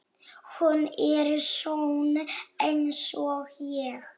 Hún er sönn einsog ég.